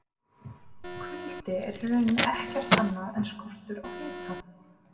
Kuldi er í rauninni ekkert annað en skortur á hita!